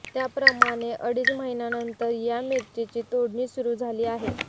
त्याप्रमाणे अडीच महिन्यानंतर या मिरचीची तोडणी सुरू झाली आहे